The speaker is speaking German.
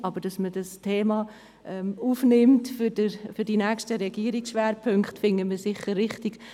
Aber wir erachten es sicher als richtig, dass man dieses Thema in die nächsten Regierungsschwerpunkte aufnimmt.